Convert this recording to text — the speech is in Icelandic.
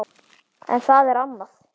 En það er annað.